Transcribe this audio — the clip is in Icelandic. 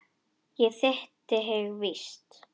Ég hitti þig víst!